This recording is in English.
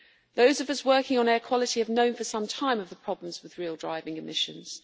Those of us working on air quality have known for some time about the problems with real driving emissions.